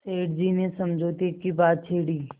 सेठ जी ने समझौते की बात छेड़ी